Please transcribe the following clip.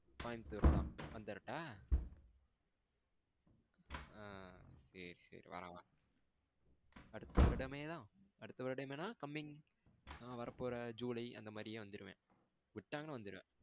கோயமுத்தூர் தான். வந்துறட்டா? ஆ சேரி சேரி வா வா அடுத்த வருடமேதா அடுத்த வருடமேதன coming வரபோற ஜூலைஅந்த மாரியே வந்துருவேன் விடங்கனா வந்துருவேன்.